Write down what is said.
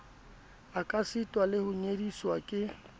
ekasita le ho nyediswa ke